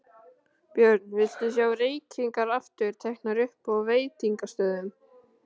Björn: Viltu sjá reykingar aftur teknar upp á veitingastöðum?